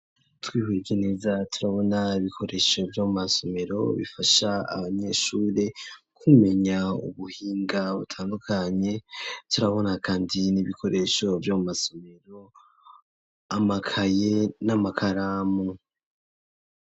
Twihweje neza turabona ibikoresho byomu masomero bifasha abanyeshuri kumenya ubuhinga butandukanye, turabona kandi n'ibikoresho by'amu masomero amakaye n'amakaramu.